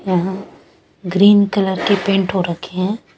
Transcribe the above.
यहा green colour के paint हो रखे है ।